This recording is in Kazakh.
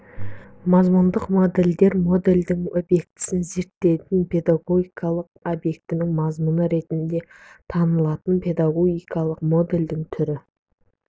мазмұндық модельдер модельдің объектісі зерттелетін педагогикалық объектінің мазмұны ретінде танылатын педагогикалық модельдің түрі